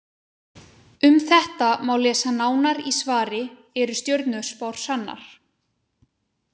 Um þetta má lesa nánar í svari Eru stjörnuspár sannar?